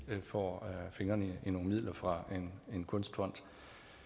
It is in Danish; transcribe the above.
får fingrene i nogle midler fra en kunstfond